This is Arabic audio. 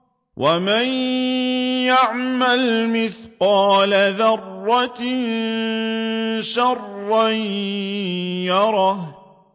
وَمَن يَعْمَلْ مِثْقَالَ ذَرَّةٍ شَرًّا يَرَهُ